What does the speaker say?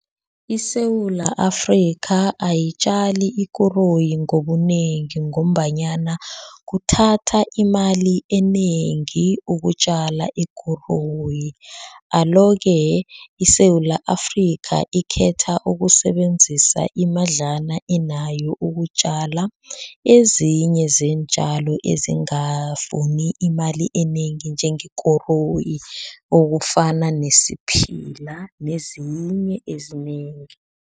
ISewula Afrika ayitjali ikoroyi ngobunengi ngombanyana kuthatha imali enengi ukutjala ikoroyi alo-ke, iSewula Afrika ikhetho ukusebenzisa imadlana enayo ukutjala ezinye zeentjalo ezingafuni imali enengi njengekoroyi okufana nesiphila nezinye ezinengi.